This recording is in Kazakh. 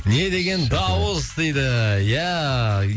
не деген дауыс дейді иә